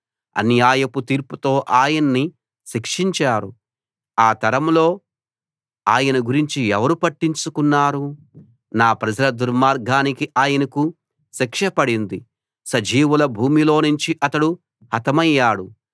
అన్యాయపు తీర్పుతో ఆయన్ని శిక్షించారు ఆ తరంలో ఆయన గురించి ఎవరు పట్టించుకున్నారు నా ప్రజల దుర్మార్గానికి ఆయనకు శిక్ష పడింది సజీవుల భూమిలోనుంచి అతడు హతమయ్యాడు